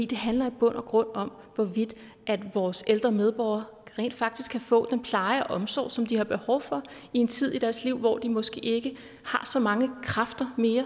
det handler i bund og grund om hvorvidt vores ældre medborgere rent faktisk kan få den pleje og omsorg som de har behov for i en tid i deres liv hvor de måske ikke har så mange kræfter